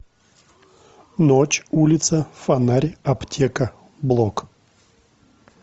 ночь улица фонарь аптека блок